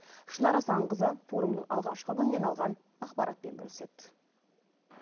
шынар асанқызы форумның алғашқы күннен алған ақпаратпен бөліседі